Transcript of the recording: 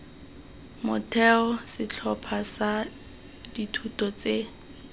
motheo setlhopha sa dithuto tse